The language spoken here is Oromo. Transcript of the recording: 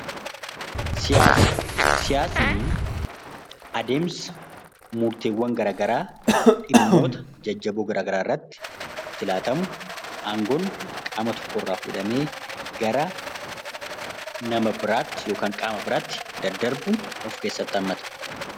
Siyaasa siyaasni adeemsa murtiiwwan garagaraa adeemsa dhimmoota jajjaboo murtiin itti laatamu gara nama biraatti yookiin qaama biraatti ittiin daddarbuudha